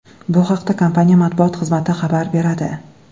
Bu haqda kompaniya matbuot xizmati xabar beradi.